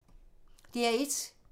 DR1